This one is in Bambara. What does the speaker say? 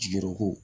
Jigi ko